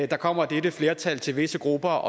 der kommer dette flertal til visse grupper og